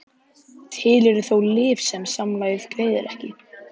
Til eru þó lyf sem samlagið greiðir ekki.